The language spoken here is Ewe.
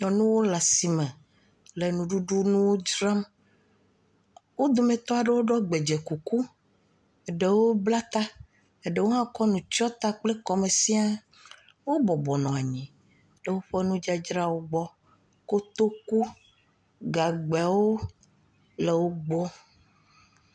Nyɔnu le asi me le nuɖuɖu nuwo dzram. Wo dometɔ aɖewo ɖɔ gbedze kuku eɖewo bla ta. Eɖewo hã kɔ nu kɔ tsyɔ kɔ me sĩa. Wo bɔbɔ nɔ anyi ɖewo ƒe nu dzadzrawo gbɔ. Kotoku, Gagbɛ le wògbɔ.